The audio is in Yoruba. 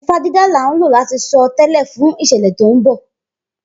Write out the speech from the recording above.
Ifá dídá là ń lò láti sọ tẹ́lẹ̀ fún ìṣẹ̀lẹ̀ tó ń bọ̀.